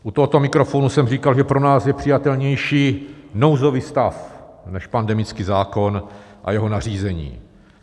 U tohoto mikrofonu jsem říkal, že pro nás je přijatelnější nouzový stav než pandemický zákon a jeho nařízení.